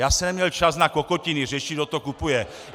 Já jsem neměl čas na kokotiny, řešit, kdo to kupuje.